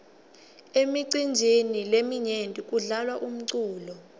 emicinjini leminyenti kudlalwa umculo